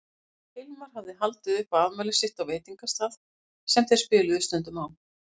Hilmar hafði haldið upp á afmælið sitt á veitingastað sem þeir spiluðu stundum á.